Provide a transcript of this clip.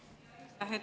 Aitäh!